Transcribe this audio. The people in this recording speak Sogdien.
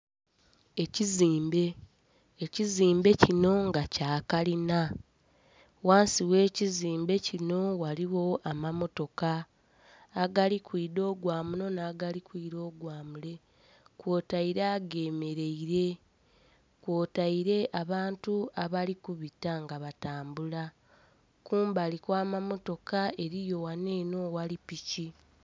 Ekizimbe, ekizimbe kino nga kya kalina, ghansi ghe kizimbe kino ghaligho amamotoka agali kwidha ogwa muno na, gali kwira ogwa mule kwotaire agemereire, kwotaire abantu abali kubita nga batambula. Kumbali kwa mamaotoka eriyo ghano eno aghali piki.